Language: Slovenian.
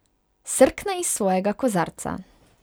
Srkne iz svojega kozarca.